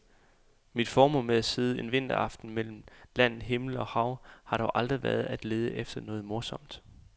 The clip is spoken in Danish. Mit formål med at sidde en vinteraften mellem land, himmel og hav har dog aldrig været at lede efter noget morsomt.